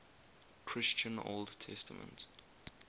christian old testament